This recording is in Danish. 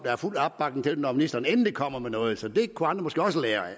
er fuld opbakning til forslaget når ministeren endelig kommer med noget det kunne andre måske også lære af